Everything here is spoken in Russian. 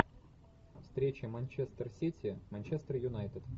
встреча манчестер сити манчестер юнайтед